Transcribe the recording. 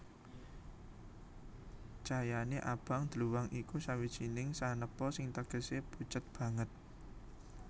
Cayané abang dluwang iku sawijining sanepa sing tegesé pucet banget